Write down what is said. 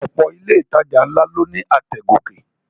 Ọ̀pọ̀ ilé ìtajà ló ní àtẹ̀ gòkè